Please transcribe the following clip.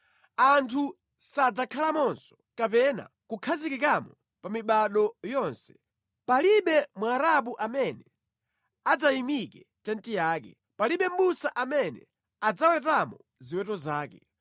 Anthu sadzakhalamonso kapena kukhazikikamo pa mibado yonse; palibe Mwarabu amene adzayimike tenti yake, palibe mʼbusa amene adzawetamo ziweto zake.